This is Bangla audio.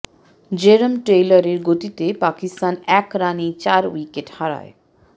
জেরম টেইলরের গতিতে পাকিস্তান এক রানেই চার উইকেট হারায়